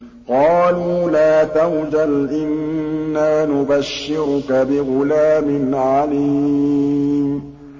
قَالُوا لَا تَوْجَلْ إِنَّا نُبَشِّرُكَ بِغُلَامٍ عَلِيمٍ